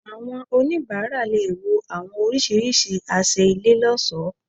Àwọn onibara lè wò àwọn orisirisi àṣẹ ilé loṣo